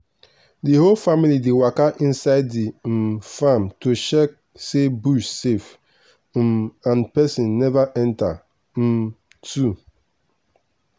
the whole family dey waka inside the um farm to check say bush safe um and person never enter um too.